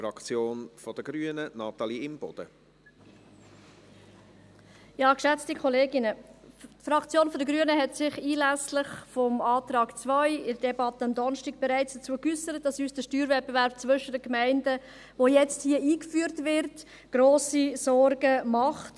Die Fraktion der Grünen hat sich anlässlich des Antrags 2 in der Debatte am Donnerstag bereits dazu geäussert, dass uns der Steuerwettbewerb zwischen den Gemeinden, welcher jetzt hier eingeführt wird, grosse Sorgen macht.